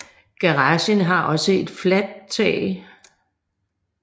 Garagen har også et fladt tag